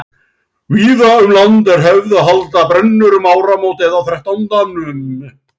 Víða um land er hefð að halda brennur um áramót eða á þrettándanum.